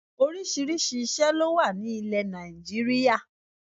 Orísìírísìí ìṣé ló wà ní ilè Nàìjíríà